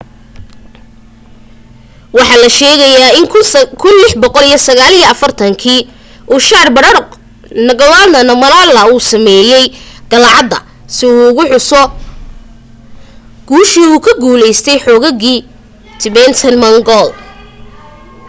waxa la sheegaa in 1649 kii uu zhabdrung ngawang namgyel uu sameeyay qalcadda si uu ugu xuso guushii u ka guulaystay xoogagii tibetan-mongol